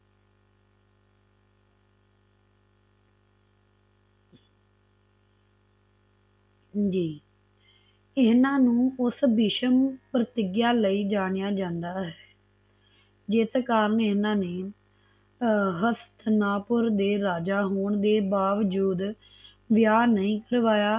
ਜੀ ਇਹਨਾਂ ਨੂੰ ਉਸ ਭੀਸ਼ਮ ਪ੍ਰਤਿਗਿਆ ਲਈ ਜਣਿਆ ਜਨਦਾ ਹੈ ਜਿਤਕਾਰ ਨੇ ਇਹਨਾਂ ਨੇ ਹਸਤਾਂ ਪੁਰ ਦੇ ਰਾਜਾ ਹੋਣ ਦੇ ਬਾਵਜੂਦ ਵਿਆਹ ਨਹੀ ਕਰਵਾਇਆ